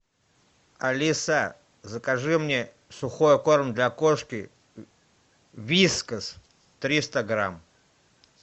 алиса закажи мне сухой корм для кошки вискас триста грамм